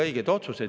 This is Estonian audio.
Teie aeg!